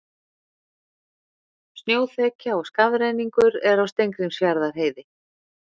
Snjóþekja og skafrenningur er á Steingrímsfjarðarheiði